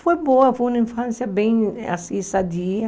Foi boa, foi uma infância bem assim, sadia.